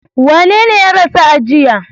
Wanene ya rasu a jiya?